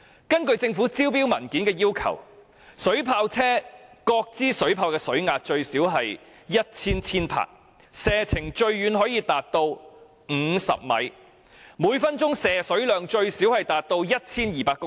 根據政府招標文件所載列的要求，水炮車各支水炮的水壓最少有 1,000 千帕，射程最遠可達50米，每分鐘的射水量最少 1,200 公升。